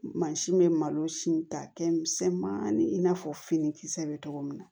Mansin bɛ malosi ta kɛ misɛnmanin in n'a fɔ finikisɛ bɛ cogo min na